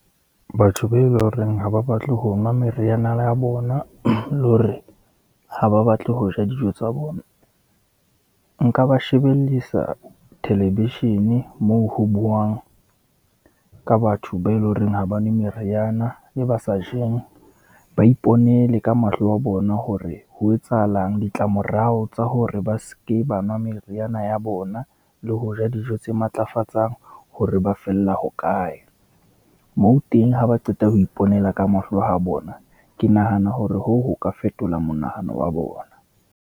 Batho be eleng horeng ha ba batle ho nwa meriana la bona, le hore ha ba batle ho ja dijo tsa bona, nka ba shebellisa thelevishene moo ho bouwang ka batho ba eleng horeng ha ba nwe meriana le ba sajeng. Ba iponele ka mahlo a bona hore ho etsahalang, ditlamorao tsa hore ba seke ba nwa meriana ya bona, le ho ja dijo tse matlafatsang hore ba fella ho kae, moo teng ha ba qeta ho iponela ka mahlo a bona. Ke nahana hore hoo, ho ka fetola monahano wa bona.